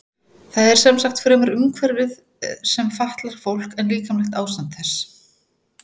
Það er sem sagt fremur umhverfið sem fatlar fólk en líkamlegt ástand þess.